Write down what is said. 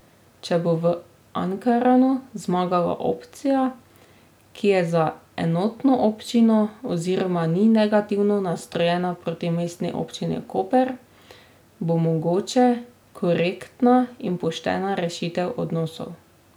Če bo v Ankaranu zmagala opcija, ki je za enotno občino oziroma ni negativno nastrojena proti Mestni občini Koper, bo mogoča korektna in poštena rešitev odnosov.